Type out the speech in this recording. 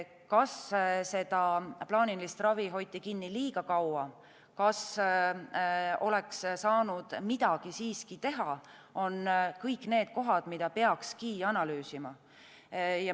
Kas seda plaanilist ravi hoiti kinni liiga kaua, kas oleks saanud midagi siiski teha, on kõik need kohad, mida peakski analüüsima.